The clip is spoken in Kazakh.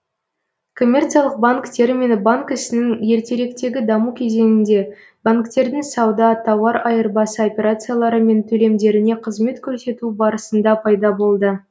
коммерциялық банк термині банк ісінің ертеректегі даму кезеңінде банктердің сауда тауар айырбасы операциялары мен төлемдеріне қызмет көрсетуі барысында пайда болды